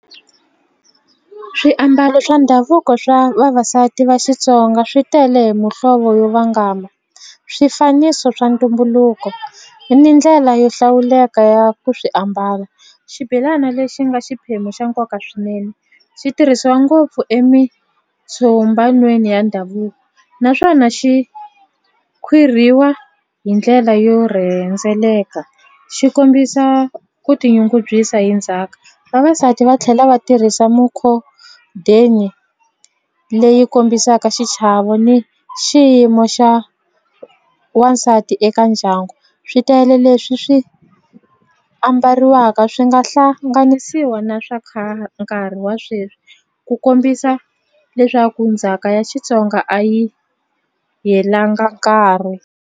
Swiambalo swa ndhavuko swa vavasati va Xitsonga swi tele hi muhlovo yo vangama swifaniso swa ntumbuluko ni mi ndlela yo hlawuleka ya ku swi ambala xibelana lexi nga xiphemu xa nkoka swinene xi tirhisiwa ngopfu emitshombanweni ya ndhavuko naswona xi khwirhiwa hi ndlela yo rhendzeleka xi kombisa ku tinyungubyisa hi ndzhaku vavasati va tlhela va tirhisa mukhodeni leyi kombisaka xichavo ni xiyimo xa wansati eka ndyangu swi tele leswi swi ambariwaka swi nga hlanganisiwa na swa khale nkarhi wa sweswi ku kombisa leswaku ndzhaka ya Xitsonga a yi helanga nkarhi.